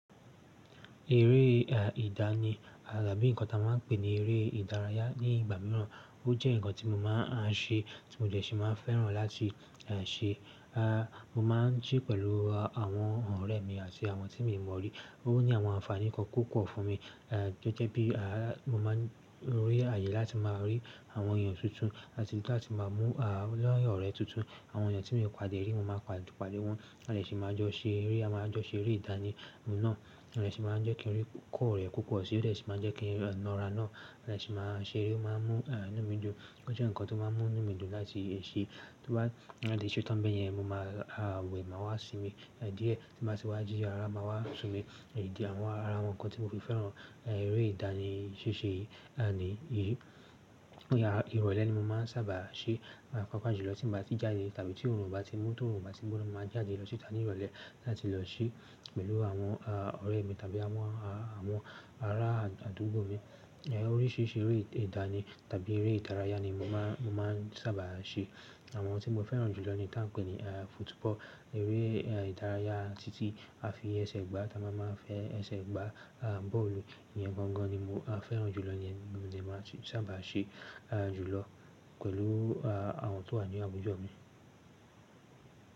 Eré ìdá ni àbí nǹkan tí a máa ń pè ní eré ìdárayá ní ìgbà mìíràn. Ó jẹ́ nǹkan tí mo máa ń ṣe tí mo dẹ́ ṣì máa ń fẹ́ràn láti ṣe. À, mo máa ń ṣe pẹ̀lú àwọn ọ̀rẹ́ mi àti àwọn tí mi ò mọ̀ rí. Ó ní àwọn àǹfààní kan púpọ̀ fún mi. À, gẹ́gẹ́ bí, mo máa ń rí àyè láti máa rí àwọn èèyàn tuntun àti láti máa mú à, ọ̀rẹ́ tuntun. Àwon èèyàn tí mi ò pàdé rí, mo máa pàdé won, a dé sì máa jo seré. A máa jọ ṣe eré ìdánì náà àti ṣe máa jẹ́ kí n rí kọ́ ọ̀rẹ́ púpọ̀ sí i tó sì máa jẹ́ kí n lọ́ra náà láti ṣe máa ṣe eré tó máa ń mú inú mi dùn. Ó jẹ́ nǹkan tó máa ń mú inú mi dùn láti ṣe. Torí bá di ṣé tó ń bẹ́ yẹn mo máa wẹ̀ máa wá sinmi. Díẹ̀ tí bá ti wá jí, ara máa wá sinmi. Ìdí àwọn ara, àwọn nǹkan tí mo fi fẹ́ràn eré ìdánì ṣíṣe ni. Ìrọ̀lẹ́ ni mo máa ń sábà ṣe. Pàápàájulọ tìn bá ti jáde tàbí tí òòrùn bá ti mú tó òòrùn bá ti gbóná, mo máa jáde lọ síta ní ìrọ̀lẹ́ láti lọ ṣé pẹ̀lú àwọn ọ̀rẹ́ mi tàbí àwọn, àwọn ará àdúgbò mi. Oríṣiríṣi eré ìdá ni tàbí eré ìdárayá ni mo máà, mo máa ń sábà ṣe. Àwọn tí mo fẹ́ràn jù lọ ni tán pè ní football, eré ìdárayá títí a fi ẹsẹ̀ gbá. Táa máa máa fẹ́ ẹsẹ̀ gbá bọ́ọ̀lù yẹn gan gan ni mo fẹ́ràn jù lọ yẹn ni mo dẹ ma sábà ṣe jùlọ pẹ̀lú àwọn tó wà ní àdúgbò mi.